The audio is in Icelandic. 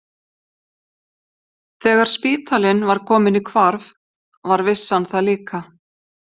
Þegar spítalinn var kominn í hvarf var vissan það líka.